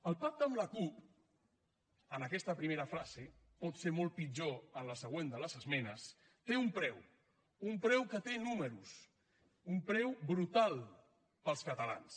el pacte amb la cup en aquesta primera fase pot ser molt pitjor a la següent de les esmenes té un preu un preu que té números un preu brutal per als catalans